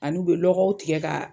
Ani'u bɛ lɔgɔw tigɛ ka.